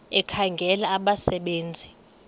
ekhangela abasebe nzi